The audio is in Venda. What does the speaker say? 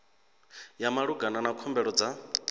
ya malugana na khumbelo dza